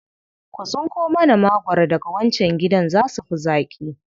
Ku tsinko mana magwaro daga wancan gidan, za su fi zaƙi.